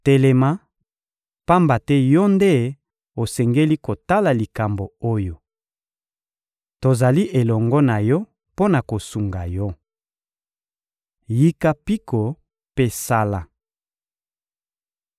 Telema, pamba te yo nde osengeli kotala likambo oyo! Tozali elongo na yo mpo na kosunga yo. Yika mpiko mpe sala!»